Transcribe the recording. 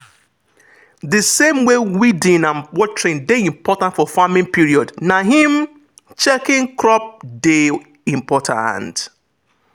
the same way weeding and watering dey important for farming period na him checking crop dey important.